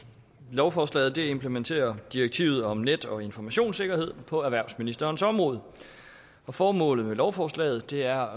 lovforslaget implementerer direktivet om net og informationssikkerhed på erhvervsministerens område formålet med lovforslaget er